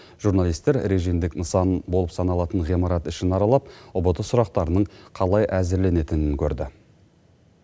журналистер режимдік нысан болып саналатын ғимарат ішін аралап ұбт сұрақтарының қалай әзірленетінін көрді